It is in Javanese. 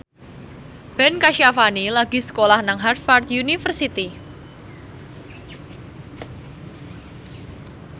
Ben Kasyafani lagi sekolah nang Harvard university